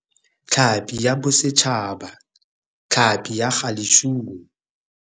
Tlhapi ya Bosetšhaba, tlhapi ya galejune.